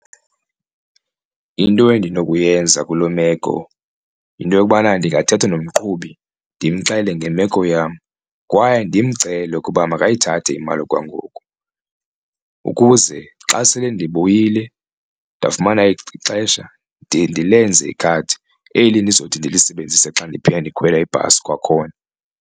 Into endinokuyenza kuloo meko yinto yokubana ndingathetha nomqhubi ndimxelele ngemeko yam kwaye ndimcele ukuba makayithathe imali okwangoku, ukuze xa sele ndibuyile ndafumana ixesha ndiye ndilenze ikhadi eli ndizothi ndilisebenzise xa ndiphinda ndikhwela ibhasi kwakhona.